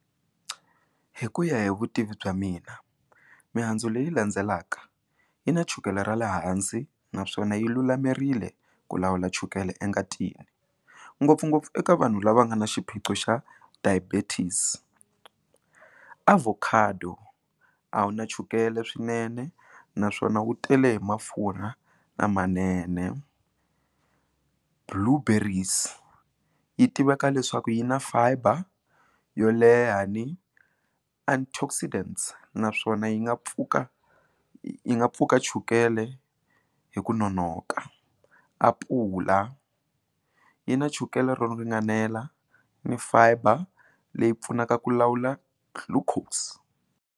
Hi ku ya hi vutivi bya mina mihandzu leyi landzelaka yi na chukele ra le hansi naswona yi lulamerile ku lawula chukele engatini ngopfungopfu eka vanhu lava nga na xiphiqo xa diabetes, avocado a wu na chukele swinene naswona wu tele hi mafurha lamanene blue berries yi tiveka leswaku yi na fiber yo leha ni and naswona yi nga pfuka yi nga pfuka chukele hi ku nonoka, apula yi na chukele ro ringanela ni fiber leyi pfunaka ku lawula glucose.